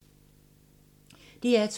DR2